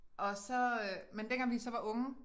Og så øh men dengang vi så var unge